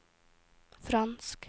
fransk